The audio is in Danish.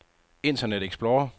internet explorer